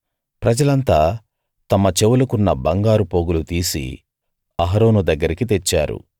ప్రజలంతా తమ చెవులకున్న బంగారు పోగులు తీసి అహరోను దగ్గరికి తెచ్చారు